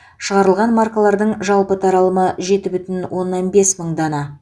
шығарылған маркалардың жалпы таралымы жеті бүтін оннан бес мың дана